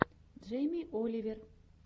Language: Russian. джейми оливер